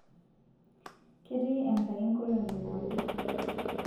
ketii Enkai nkolongi pooki